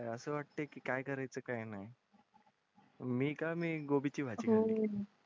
असं वाटतं की काय कराय चं काय नाही मीं कामी गोबी चे भाजी